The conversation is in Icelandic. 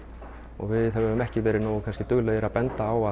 og við höfum kannski ekki verið nógu duglegir að benda á